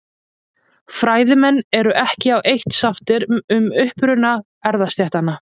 Fræðimenn eru ekki á eitt sáttir um uppruna erfðastéttanna.